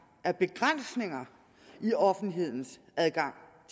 er begrænsninger i offentlighedens adgang